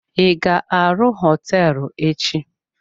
I ga-arụ hoteelu echi?